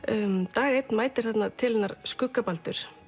dag einn mætir til hennar skugga Baldur